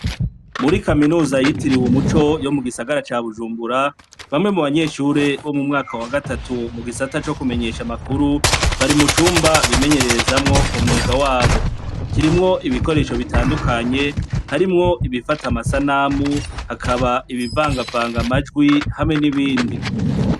Muri kaminuza yitiriwe umuco yo mu gisagara ca Bujumbura, bamwe mu banyeshure bo mu mwaka wa gatatu mu gisata co kumenyesha amakuru, bari mu cumba bimenyererezamwo umwuga wabo. Kirimwo ibikoresho bitandukanye, harimwo ibifata amasanamu, hakaba ibivangavanga amajwi, hamwe n'ibindi.